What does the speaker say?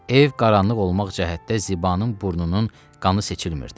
Ev qaranlıq olmaq cəhətdə Zibanın burnunun qanı seçilmiridi.